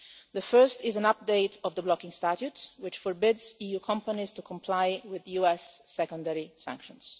The first is an update of the blocking statute, which forbids EU companies to comply with US secondary sanctions.